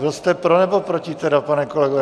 Byl jste pro, nebo proti tedy, pane kolego?